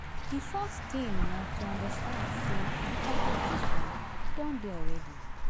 Di first thing na to understand sey di competition don dey already